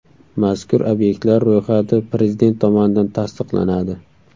Mazkur obyektlar ro‘yxati Prezident tomonidan tasdiqlanadi.